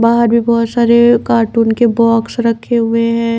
बाहर भी बहोत सारे कार्टून के बॉक्स रखे हुए हैं।